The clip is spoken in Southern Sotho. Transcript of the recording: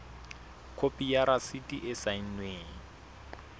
khopi ya rasiti e saennweng